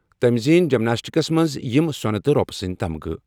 تٔمۍ زیٖنۍ جمناسٹکَس منٛز یِم سۄنہٕ تہٕ رۄپہٕ سٕنٛدۍ تمغہٕ۔